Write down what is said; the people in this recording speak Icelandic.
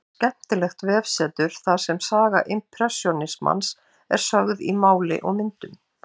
Skemmtilegt vefsetur þar sem saga impressjónismans er sögð í máli og myndum.